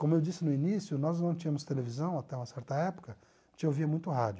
Como eu disse no início, nós não tínhamos televisão até uma certa época, a gente ouvia muito rádio.